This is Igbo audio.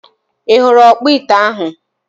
I huru okpo ite ahu?